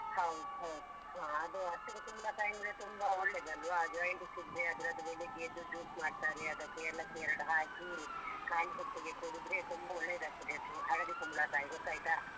ಹೌದು ಹೌದು ಹಾ ಅದು ಹಸಿರು ಕುಂಬ್ಳಕಾಯಿ ಅಂದ್ರೆ ತುಂಬ ಒಳ್ಳೆದು ಅಲ್ವ Jaundice ಇದ್ರೆ ಅದ್ರದ್ದು ಬೆಳಿಗ್ಗೆ ಎದ್ದು juice ಮಾಡ್ತಾರೆ ಅದಕ್ಕೆ ಏಲಕ್ಕಿ ಎರಡ್ ಹಾಕಿ ಕಾಲಿ ಹೊಟ್ಟೆಗೆ ಕುಡಿದ್ರೆ ತುಂಬ ಒಳ್ಳೆದಾಗ್ತದೆ ಅದು ಹಳದಿ ಕುಂಬ್ಳಕಾಯಿ ಗೊತ್ತಾಯ್ತಾ.